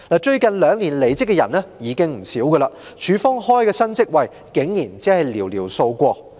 最近兩年離職的員工已經不少，港台開設的新職位卻只有寥寥數個。